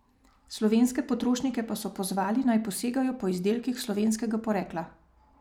Slovenske potrošnike pa so pozvali, naj posegajo po izdelkih slovenskega porekla.